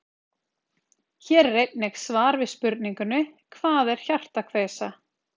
Hér er einnig svar við spurningunni Hvað er hjartakveisa?